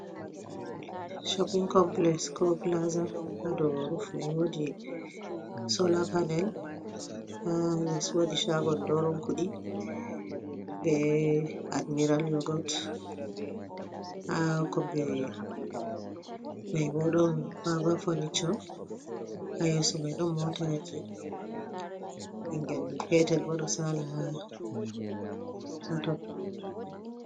"shopin kompilex" koo "pilaaza", haa dow "ruf" may woodi "soolaa panel" haa lees woodi "caago dooron kuɗii, bee "admiiral yogot" haa kombi may bo ɗon "vaavaa fonicoo" ha yeyso may ɗon mootaaje. Ɓinngel peetel bo ɗo saala ha ton.